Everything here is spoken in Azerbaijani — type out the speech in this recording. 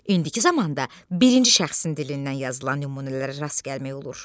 İndiki zamanda birinci şəxsin dilindən yazılan nümunələrə rast gəlmək olur.